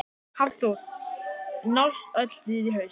Hafþór: Nást öll dýr í haust?